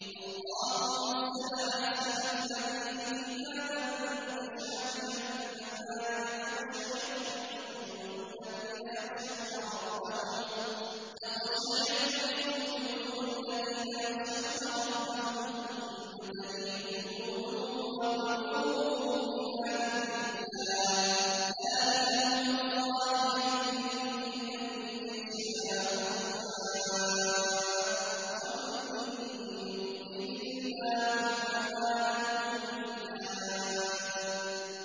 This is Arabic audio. اللَّهُ نَزَّلَ أَحْسَنَ الْحَدِيثِ كِتَابًا مُّتَشَابِهًا مَّثَانِيَ تَقْشَعِرُّ مِنْهُ جُلُودُ الَّذِينَ يَخْشَوْنَ رَبَّهُمْ ثُمَّ تَلِينُ جُلُودُهُمْ وَقُلُوبُهُمْ إِلَىٰ ذِكْرِ اللَّهِ ۚ ذَٰلِكَ هُدَى اللَّهِ يَهْدِي بِهِ مَن يَشَاءُ ۚ وَمَن يُضْلِلِ اللَّهُ فَمَا لَهُ مِنْ هَادٍ